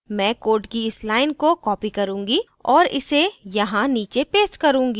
मैं code की इस line को copy करूँगी और इसे यहाँ नीचे paste करूँगी